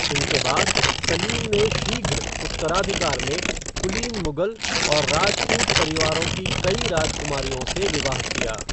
इनके बाद, सलीम ने शीघ्र उत्तराधिकार में, कुलीन मुगल और राजपूत परिवारों की कई राजकुमारियों से विवाह किया।